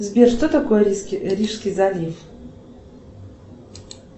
сбер что такое рижский залив